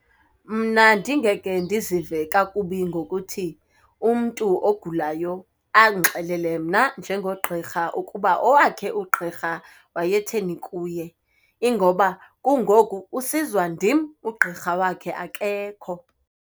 Mna ndingeke ndizive kakubi ngokuthi umntu ogulayo andixelele mna nje ngogqirha ukuba owakhe ugqirha wayetheni kuye ingoba kungoku usizwa ndim, ugqirha wakhe akekho.